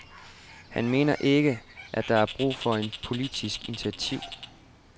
Han mener ikke, at der er brug for et politisk initiativ.